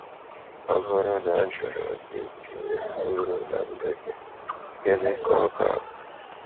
Ọ bụrụ na a jụrụ gị itinye uru na ndụ gị, gịnị ka ọ ga abụ?